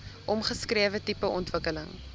omskrewe tipe ontwikkeling